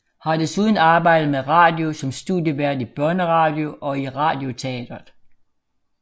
Har desuden arbejdet med radio som studievært i Børneradio og i Radioteatret